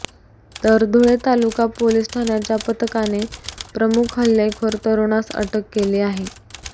तर धुळे तालुका पोलिस ठाण्याच्या पथकाने प्रमुख हल्लेखोर तरुणास अटक केली आहे